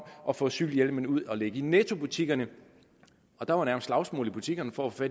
at få cykelhjelmene ud at ligge i nettobutikkerne og der var nærmest slagsmål i butikkerne for at få